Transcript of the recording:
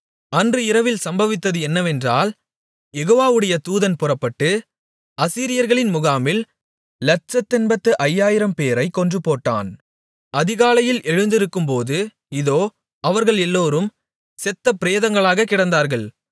அன்று இரவில் சம்பவித்தது என்னவென்றால் யெகோவாவுடைய தூதன் புறப்பட்டு அசீரியர்களின் முகாமில் லட்சத்தெண்பத்து ஐயாயிரம்பேரைக் கொன்றுபோட்டான் அதிகாலையில் எழுந்திருக்கும்போது இதோ அவர்கள் எல்லோரும் செத்த பிரதேங்களாகக் கிடந்தார்கள்